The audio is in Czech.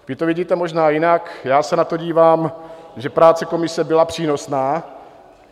Vy to vidíte možná jinak, já se na to dívám, že práce komise byla přínosná.